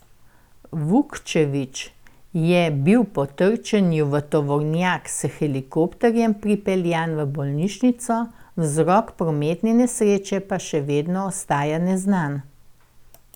Vukčević je bil po trčenju v tovornjak s helikopterjem pripeljan v bolnišnico, vzrok prometne nesreče pa še vedno ostaja neznan.